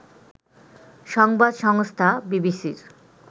সংবাদ সংস্থা বিবিসির